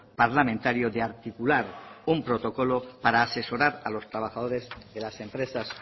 parlamentario de articular un protocolo para asesorar a los trabajadores de las empresas